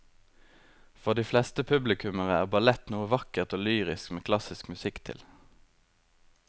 For de fleste publikummere er ballett noe vakkert og lyrisk med klassisk musikk til.